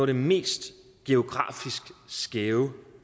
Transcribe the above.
det mest geografisk skæve